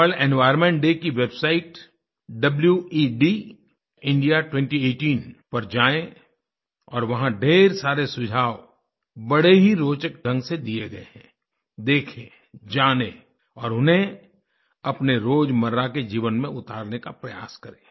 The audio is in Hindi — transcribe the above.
वर्ल्ड एनवायर्नमेंट डे की वेबसाइट wedindia2018 पर जाएँ और वहाँ ढ़ेर सारे सुझाव बड़े ही रोचक ढ़ंग से दिए गए हैं देखें जानें और उन्हें अपने रोजमर्रा के जीवन में उतारने का प्रयास करें